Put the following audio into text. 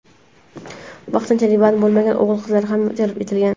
vaqtincha band bo‘lmagan o‘g‘il-qizlar ham jalb etilgan.